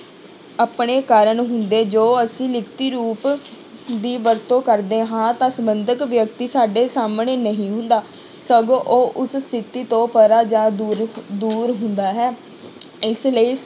ਆਪਣੇ ਕਾਰਨ ਹੁੰਦੇ ਜੋ ਅਸੀਂ ਲਿਖਤੀ ਰੂਪ ਦੀ ਵਰਤੋਂ ਕਰਦੇ ਹਾਂ ਤਾਂ ਸੰਬੰਧਕ ਵਿਅਕਤੀ ਸਾਡੇ ਸਾਹਮਣੇੇ ਨਹੀਂ ਹੁੰਦਾ, ਸਗੋਂ ਉਹ ਉਸ ਸਥਿੱਤੀ ਤੋਂ ਪਰਾਂ ਜਾਂ ਦੂਰਕ ਦੂਰ ਹੁੰਦਾ ਹੈ ਇਸ ਲਈ